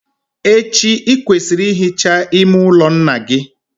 Echi, ị kwesịrị ị hicha ime ụlọ nna gị.